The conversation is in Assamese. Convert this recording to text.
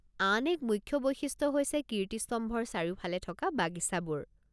আন এক মুখ্য বৈশিষ্ট্য হৈছে কীৰ্তিস্তম্ভৰ চাৰিওফালে থকা বাগিচাবোৰ।